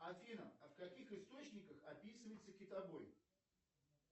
афина а в каких источниках описывается китобой